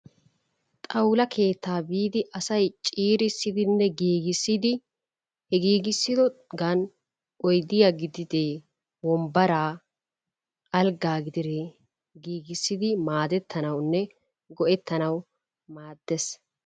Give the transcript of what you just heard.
Xawula keettaa biidi asay ciirissidinne giigissidi he giigisidoogan oydiyaa gididee wombbaraa alggaa gididee giigissidi maadettanawunne go"eettanawu maaddees.